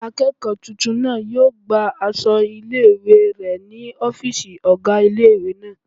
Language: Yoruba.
Akẹ́kọ̀ọ́ tuntun náà yóò gba aṣọ ilé-ìwé rẹ̀ ní ọ́fìsì ọgá ilé-ìwé náà